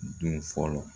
Don fɔlɔ